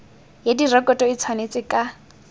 ya direkoto e tshwanetse ka